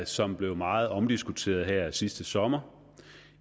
som var meget omdiskuteret her sidste sommer